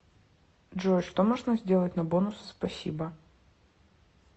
джой что можно сделать на бонусы спасибо